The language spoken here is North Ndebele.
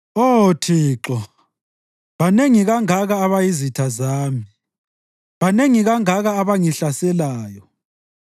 Oh Thixo banengi kangaka abayizitha zami! Banengi kangaka abangihlaselayo!